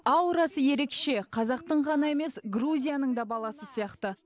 аурасы ерекше қазақтың ғана емес грузияның да баласы сияқты